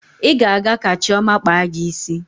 Ị ga-aga ka Chioma kpaa gị isi.